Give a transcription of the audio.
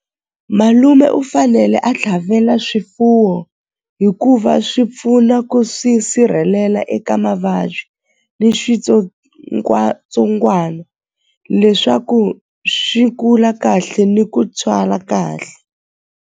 Malume u fanele a tlhavela swifuwo hikuva swi pfuna ku swi sirhelela eka mavabyi ni switsongwatsongwana leswaku swi kula kahle ni ku tswala kahle.